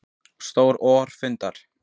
Stjórn OR fundar